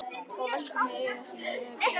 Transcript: Og velti fyrir mér hvar eigi að byrja.